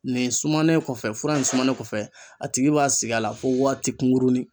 Nin sumanen kɔfɛ fura in sumanen kɔfɛ a tigi b'a sig'a la fo waati kunkurunin